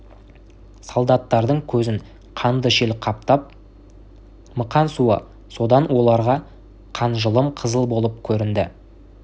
солдаттардың көзін қанды шел қаптап мықан суы содан оларға қанжылым қызыл болып көрінді